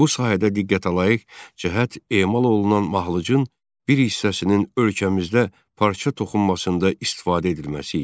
Bu sahədə diqqətəlayiq cəhət emal olunan mahlucun bir hissəsinin ölkəmizdə parça toxunmasında istifadə edilməsi idi.